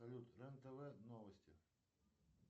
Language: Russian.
салют рен тв новости